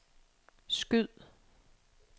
skyd